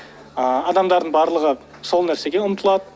ы адамдардың барлығы сол нәрсеге ұмтылады